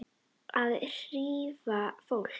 Að hrífa fólk.